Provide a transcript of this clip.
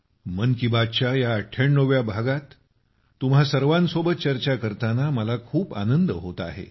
मन की बात च्या या 98 व्या भागात तुम्हा सर्वांसोबत चर्चा करताना मला खूप आनंद होत आहे